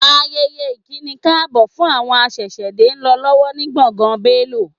Ayẹyẹ ìkínikáàbọ̀ fún àwọn aṣẹ̀ṣẹ̀dé ń lọ lọ́wọ́ ni gbọ̀ngàn Bélò